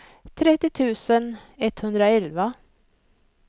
trettio tusen etthundraelva